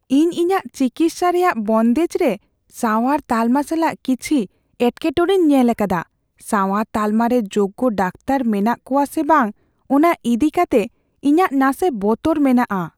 ᱤᱧ ᱤᱧᱟᱹᱜ ᱪᱤᱠᱤᱛᱥᱟ ᱨᱮᱭᱟᱜ ᱵᱚᱱᱫᱮᱡ ᱨᱮ ᱥᱟᱶᱟᱨ ᱛᱟᱞᱢᱟ ᱥᱟᱞᱟᱜ ᱠᱤᱪᱷᱤ ᱮᱴᱠᱮᱴᱚᱲᱮᱧ ᱧᱮᱞ ᱟᱠᱟᱫᱟ ᱾ ᱥᱟᱶᱟᱨ ᱛᱟᱞᱢᱟ ᱨᱮ ᱡᱳᱜᱽᱜᱚ ᱰᱟᱠᱛᱟᱨ ᱢᱮᱱᱟᱜ ᱠᱚᱣᱟ ᱥᱮ ᱵᱟᱝ ᱚᱱᱟ ᱤᱫᱤ ᱠᱟᱛᱮ ᱤᱧᱟᱹᱜ ᱱᱟᱥᱮ ᱵᱚᱛᱚᱨ ᱢᱮᱱᱟᱜᱼᱟ ᱾